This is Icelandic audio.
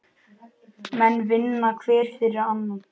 Menn vinna hver fyrir annan.